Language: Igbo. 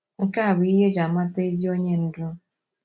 Nke a bụ ihe e ji amata ezi onye ndú.